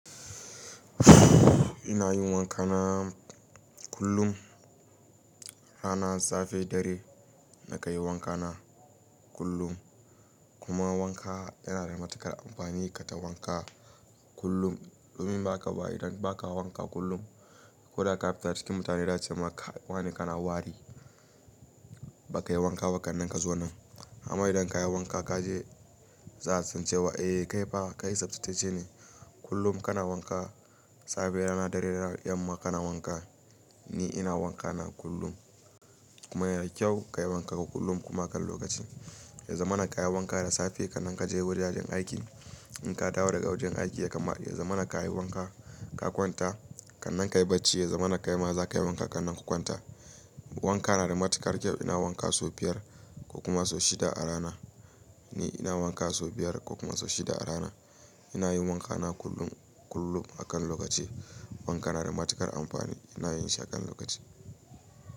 Ina yin wanka na kullum. Rana safe ɗare na kanyi wanka na kullum. Kuma wanka yana da matuƙar amfani. Ka ta wanka kullum. Dumin ba haka ba idan ba ka wanka kullum. Ko da ka fita cikin mutane za a ce maka wane kana wari. Ba ka yi wanka ba kan nan ka zo nan. Amma idan ka yi wanka ka je, za a sance wa eh kai fa kai sabtace ne. Kullum kana wanka. Safe rana dare da yamma kana wanka. Ni ina wanka na kullum. Kuma yana da kyau ka yi wanka kullum a kan lokaci. Ya zamana ka yi wanka da safe kan nan ka je wurin aikin. In ka dawo daga wajen aiki ya kamata ya zamana ka yi wanka ka kwanta. Kan nan ka yi bacci ya zamana kai ma za ka yi wanka kan nan ka kwanta. Wanka na da matuƙar kyau. Ina wanka sau biyar ko kuma sau shida a rana. Ni ina wanka sau biyar ko kuma sau shida a rana. Ina yin wanka na kullum kullum a kan lokaci. Wanka na da matuƙar amfani. Ina yin shi a kan lokaci.